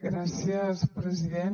gràcies president